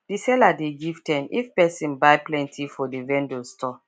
the seller dey give ten if person buy plenty for the vendor store